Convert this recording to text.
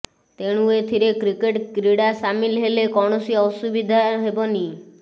ତେଣୁ ଏଥିରେ କ୍ରିକେଟ କ୍ରୀଡ଼ା ସାମିଲ ହେଲେ କୌଣସି ଅସୁବିଧା ହେବନି